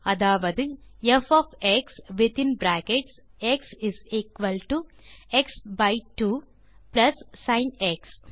அதாவது f of x within brackets x is equal to x by 2 plus sin X